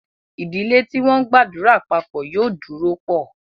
Ìdílé tí wọ́n ńgbàdúrà papọ̀ yóò dúró pọ̀